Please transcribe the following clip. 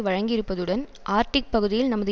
வழங்கி இருப்பதுடன் ஆர்டிக் பகுதியில் நமது